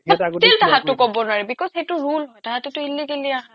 total আহাটো ক'ব নোৱাৰি because সেইটো rule হয় তাহাতেটো illegally আহা